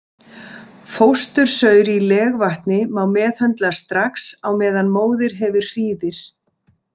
Fóstursaur í legvatni má meðhöndla strax á meðan móðir hefur hríðir.